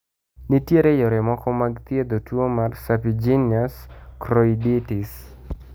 Nitiere yore moko mag thiedho tuo mar serpiginous choroiditis?